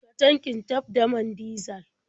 Cika tankin taf da man dizal.